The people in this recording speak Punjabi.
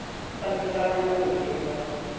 ਤਿੰਨ ਚਾਰ ਮਿੰਟ ਚ ਹੋ ਗਈ ਸੀ ਮੈਨੂੰ ਲੱਗਦਾ।